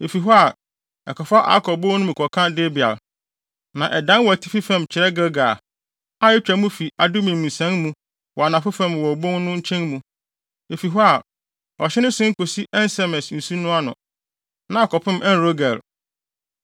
Efi hɔ a, ɛkɔfa Akɔr bon no mu kɔka Debir, na ɛdan wɔ atifi fam kyerɛ Gilgal, a etwa mu fi Adumim nsian mu wɔ anafo fam wɔ obon no nkyɛn mu. Efi hɔ a, ɔhye no sen kosi En-Semes nsu no ano, na akɔpem En-Rogel.